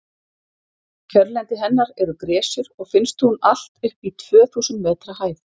kjörlendi hennar eru gresjur og finnst hún allt upp í tvö þúsund metra hæð